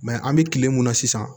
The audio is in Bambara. an bɛ kile mun na sisan